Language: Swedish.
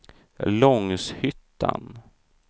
Långshyttan